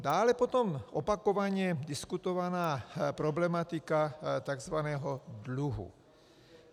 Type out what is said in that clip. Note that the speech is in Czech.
Dále potom opakovaně diskutovaná problematika takzvaného dluhu.